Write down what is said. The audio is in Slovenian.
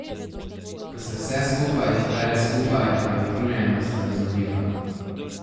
Ko se vse skupaj zbere skupaj, je utrujenost razumljiva.